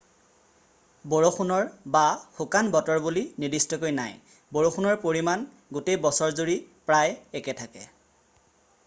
"""বৰষুণ""ৰ বা "শুকান" বতৰ বুলি নিৰ্দিষ্টকৈ নাই: বৰষুণৰ পৰিমাণ গোটেই বছৰজুৰি প্ৰায় একে থাকে।""